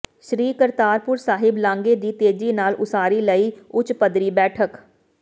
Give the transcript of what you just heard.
ਸ੍ਰੀ ਕਰਤਾਰਪੁਰ ਸਾਹਿਬ ਲਾਂਘੇ ਦੀ ਤੇਜ਼ੀ ਨਾਲ ਉਸਾਰੀ ਲਈ ਉਚ ਪੱਧਰੀ ਬੈਠਕ